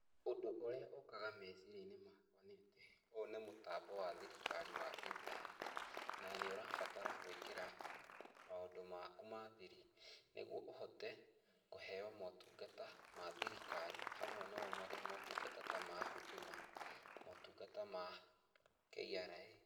Ũndũ ũrĩa ũkaga meciria-inĩ makwa nĩ atĩ ũũ nĩ mũtambo wa thirikari wa internet na nĩ ũrabatara gũĩkĩra maũndũ maku ma thiri nĩguo ũhote kũheo motungata ma thirikari hamwe namo marĩ motungata ta ma Huduma, motungata ma KRA.